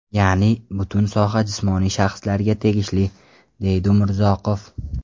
Ya’ni butun soha jismoniy shaxslarga tegishli”, deydi Umurzoqov.